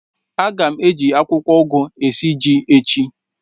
A ga m eji akwụkwọ ugu esi ji echi.